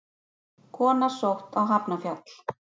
Kona sótt á Hafnarfjall